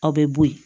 Aw bɛ bo ye